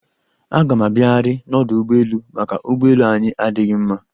Aga m abiaghiarị n'ọdụ ụgbọelu, maka ụgbọelu anyị adịghị mma.